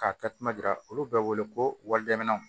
K'a takuma jira olu bɛ wele ko walidenw